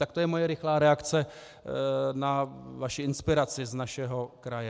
Tak to je moje rychlá reakce na vaši inspiraci z našeho kraje.